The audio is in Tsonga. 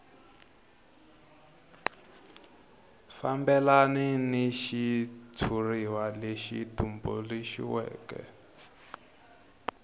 fambelana ni xitshuriwa lexi tumbuluxiweke